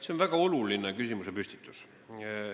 See on väga oluline küsimusepüstitus.